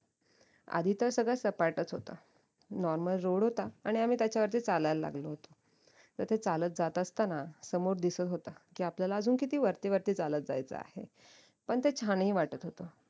आधी तर सगळं सपाटाच होत normal road होता आणि आम्ही त्याच्यावरती आम्ही चालायला लागलो होतो तर ते चालत जात असताना समोर दिसत होत की आपल्याला अजून किती वरती वरती चालत जायचं आहे पण ते छानही वाटत होत